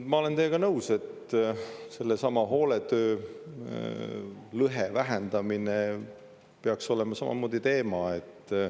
Ma olen teiega nõus, et sellesama hooletöölõhe vähendamine peaks olema samamoodi teema.